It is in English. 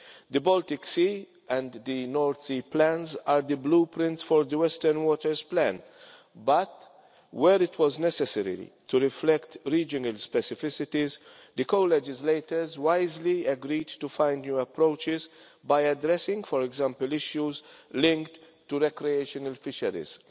The Baltic Sea and the North Sea plans are the blueprints for the Western Waters Plan but, where it was necessary to reflect regional specificities, the co legislators wisely agreed to find new approaches by addressing, for example, issues linked to recreational fisheries.